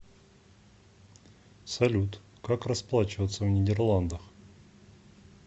салют как расплачиваться в нидерландах